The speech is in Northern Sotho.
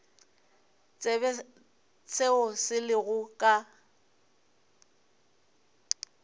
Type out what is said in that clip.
tsebe seo se lego ka